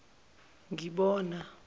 ngibona